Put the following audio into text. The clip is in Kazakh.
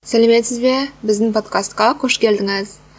сәлеметсіз бе біздің подкастқа қош келдіңіз